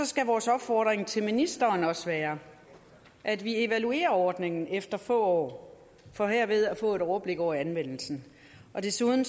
skal vores opfordring til ministeren også være at vi evaluerer ordningen efter få år for herved at få et overblik over anvendelsen og desuden